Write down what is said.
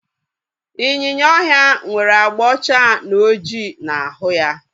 Ịnyịnya ọhịa nwere abga ọcha na ọjị na ahụ ya